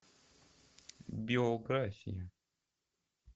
биография